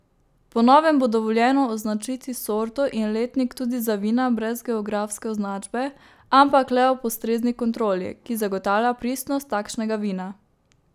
Po novem bo dovoljeno označiti sorto in letnik tudi za vina brez geografske označbe, ampak le ob ustrezni kontroli, ki zagotavlja pristnost takšnega vina.